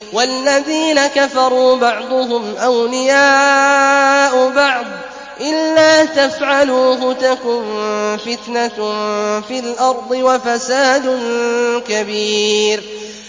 وَالَّذِينَ كَفَرُوا بَعْضُهُمْ أَوْلِيَاءُ بَعْضٍ ۚ إِلَّا تَفْعَلُوهُ تَكُن فِتْنَةٌ فِي الْأَرْضِ وَفَسَادٌ كَبِيرٌ